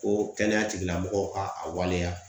Ko kɛnɛya tigilamɔgɔw ka a waleya .